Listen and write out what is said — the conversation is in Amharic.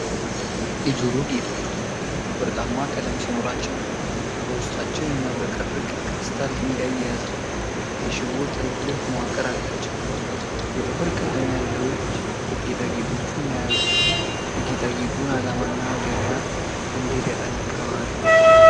የጆሮ ጌጦቹ ወርቃማ ቀለም ሲኖራቸው፣ በውስጣቸው የሚያብረቀርቅ የክሪስታል ድንጋይ የያዘ የሽቦ ጥልፍልፍ መዋቅር አላቸው። የጥፍር ቀለም ያለው እጅ ጌጣጌጦቹን መያዙ የጌጣጌጡን ዓላማና ገበያ እንዴት ያጠናክረዋል?